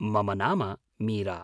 मम नाम मीरा।